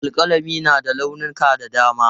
Alƙalami na da launuka da dama.